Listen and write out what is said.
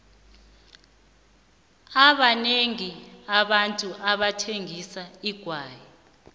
abanengi abantu bathengisa igwayi